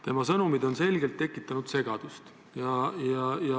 Tema sõnumid on selgelt tekitanud segadust.